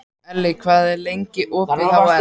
Elli, hvað er opið lengi í HR?